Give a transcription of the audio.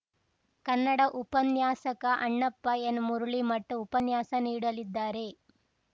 ಕನ್ನಡ ಉಪನ್ಯಾಸಕ ಅಣ್ಣಪ್ಪ ಎನ್‌ಮಳೀಮಠ್‌ ಉಪನ್ಯಾಸ ನೀಡಲಿದ್ದಾರೆ